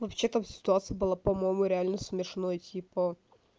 вообще там ситуация была по-моему реально смешно и типа